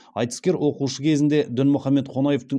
айтыскер оқушы кезінде дінмұхамед қонаевтың